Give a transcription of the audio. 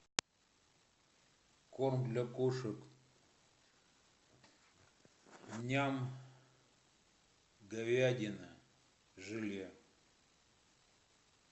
корм для кошек ням говядина желе